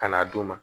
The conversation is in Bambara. Ka n'a d'u ma